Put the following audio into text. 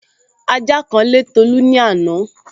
Ajá kan lé Tolu ní àná